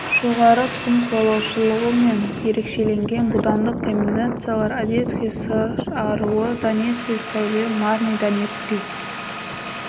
жоғарғы тұқым қуалаушылығымен ерекшеленген будандық комбинациялар одесский сыр аруы донецкий сәуле марни донецкий